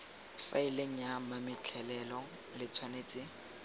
faeleng ya mametlelelo le tshwanetse